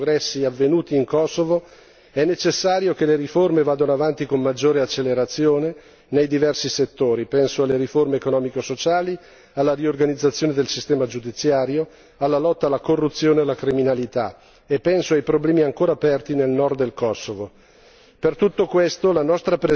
In questo quadro, pur sottolineando i progressi avvenuti in Kosovo, è necessario che le riforme vadano avanti con maggiore accelerazione nei diversi settori penso alle riforme economico sociali, alla riorganizzazione del sistema giudiziario, alla lotta alla corruzione e alla criminalità, e penso ai problemi ancora aperti nel nord del Kosovo.